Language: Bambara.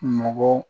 Mɔgɔ